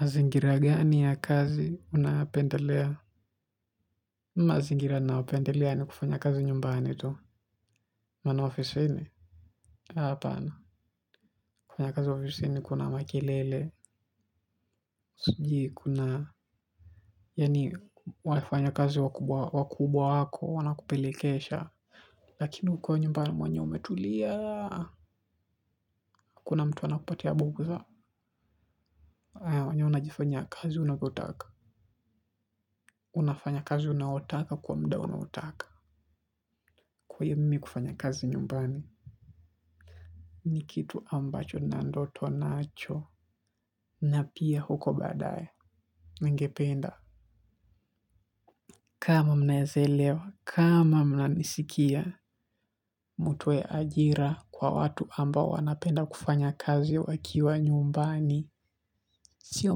Mazingira gani ya kazi unapendelea? Mazingira na wapendelea ni kufanya kazi nyumbani tu. Mana office fini? Hapana. Kufanya kazi office fini kuna makelele. Siji kuna. Yani wafanya kazi wakubwa wako wana kupelekesha. Lakini kukua nyumbani mwenye umetulia. Hakuna mtu ana kupati ya buguda. Mwenyewe unajifanyia kazi unavotaka. Unafanya kazi unaowataka kwa mda unaowataka. Kwa iyo mimi kufanya kazi nyumbani. Ni kitu ambacho na ndoto nacho napia huko badaye. Ningependa kama mnaezelewa kama mna nisikia mutue ajira kwa watu amba wanapenda kufanya kazi wakiwa nyumbani sio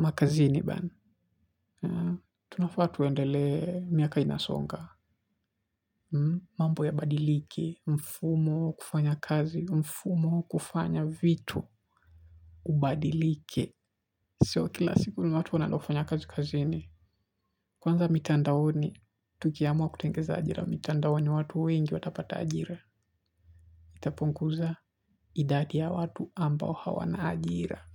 makazini bana. Tunafa tuwendele miaka inasonga. Mambo ya badilike. Mfumo wa kufanya kazi. Mfumo kufanya vitu Ubadilike. Sio kila siku ni watu wanandofanya kazi kazini. Kwanza mitandaoni, tukiamuwa kutengeza ajira. Mitandaoni watu wengi watapata ajira. Itaponguza idadi ya watu ambao hawana ajira.